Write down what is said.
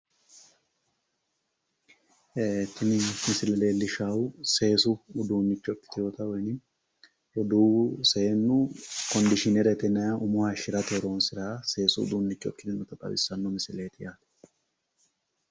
Tini misile leellishaahu seesu uduunnicho ikkitewoota woyiinim roduuwu seennu kondishiinerete yinayiihu seesu uduunnicho ikkinota xawissanno misileeti yaate.